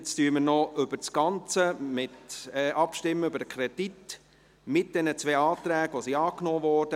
Jetzt stimmen wir noch über das Ganze ab, über den Kredit mit diesen zwei angenommenen Anträgen.